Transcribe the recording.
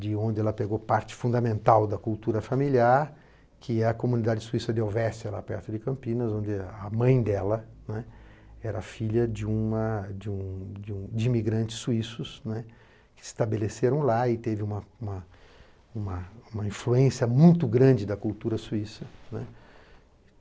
de onde ela pegou parte fundamental da cultura familiar, que é a comunidade suíça de Ovestia, lá perto de Campinas, onde a mãe dela né era filha de uma de um de imigrantes suíços né que se estabeleceram lá e teve uma uma uma uma influência muito grande da cultura suíça, né.